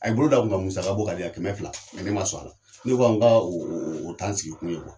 A ye bolo don a kun ka musaka bɔ ka di yan, kɛmɛ fila mɛ ne ma sɔn a la. Ne ko a ma ka o o t'an sigi kun ye .